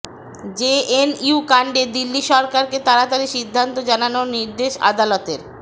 JNU কাণ্ডে দিল্লি সরকারকে তাড়াতাড়ি সিদ্ধান্ত জানানোর নির্দেশ আদালতের